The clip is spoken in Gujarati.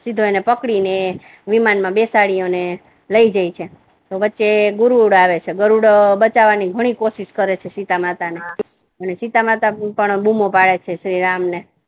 સીધો પકડીને વિમાન મા બેસાડી ને એને લઈ જાય છે તો વચ્ચે ગુરુડ આવે છે ગરુડો બચાવવા ની ઘણી કોશિશ કરે છે સીતામાતા ને અને સીતામાતા પણ બુમો પાડે શ્રીરામ ને